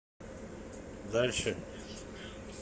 дальше